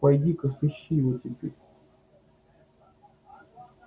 пойди ка сыщи его теперь